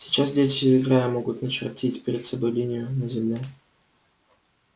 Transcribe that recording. сейчас дети играя могут начертить перед собой линию на земле